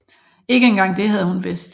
Ikke engang det havde hun vidst